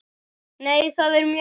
Nei, það er mjög erfitt.